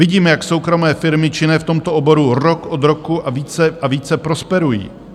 Vidíme, jak soukromé firmy činné v tomto oboru rok od roku a více a více prosperují.